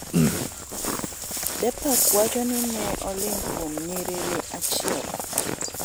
Deepak wacho ni ne oling' kuom nyrinyiri achiel.